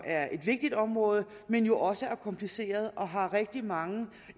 er et vigtigt område men jo også er kompliceret og har rigtig mange